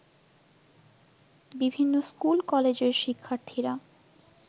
বিভিন্ন স্কুল-কলেজের শিক্ষার্থীরা